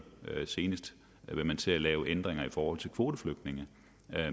høre senest vil man til at lave ændringer i forhold til kvoteflygtninge